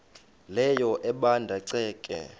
leyo ebanda ceke